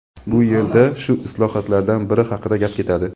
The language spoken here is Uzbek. Bu yerda shu islohotlardan biri haqida gap ketadi.